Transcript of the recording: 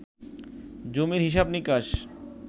জমির হিসাব নিকাশ